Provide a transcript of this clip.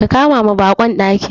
Ka kamawa baƙon daki.